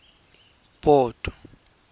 port